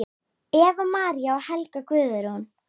Eva María og Helga Guðrún.